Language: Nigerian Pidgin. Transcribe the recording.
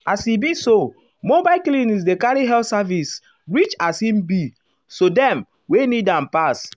as e be so mobile clinics dey carry health services reachas um e be um sodem wey need am pass.